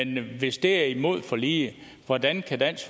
men hvis det er imod forliget hvordan kan dansk